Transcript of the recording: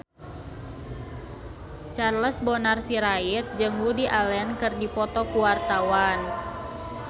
Charles Bonar Sirait jeung Woody Allen keur dipoto ku wartawan